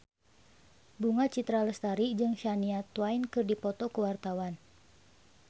Bunga Citra Lestari jeung Shania Twain keur dipoto ku wartawan